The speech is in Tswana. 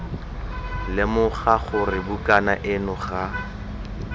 lemoga gore bukana eno ga